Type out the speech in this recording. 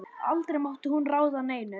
Aldrei mátti hún ráða neinu.